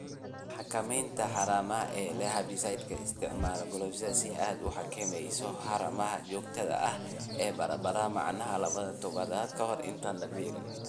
""" Xakamaynta haramaha ee leh Hebicides Isticmaal Glyphosphate si aad u xakamayso haramaha joogtada ah ee baradhada macaan laba toddobaad ka hor intaan la beerin."